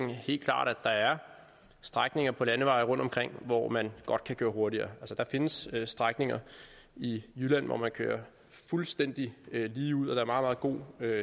der helt klart er er strækninger på landeveje rundtomkring hvor man godt kan køre hurtigere der findes strækninger i jylland hvor man kører fuldstændig ligeud og er meget god